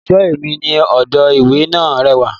Ẹ̀ṣọ́ ẹ̀mí ní odò ìwẹ̀ náà rẹwà